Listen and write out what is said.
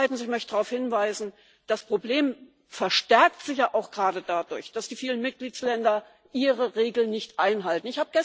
Zweitens möchte ich darauf hinweisen Das Problem verstärkt sich ja auch gerade dadurch, dass die vielen Mitgliedstaaten ihre Regeln nicht einhalten.